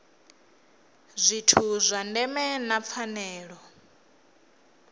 zwithu zwa ndeme na pfanelo